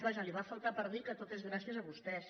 vaja li va faltar per dir que tot és gràcies a vostès